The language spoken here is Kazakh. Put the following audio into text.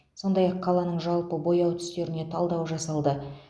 сондай ақ қаланың жалпы бояу түстеріне талдау жасалды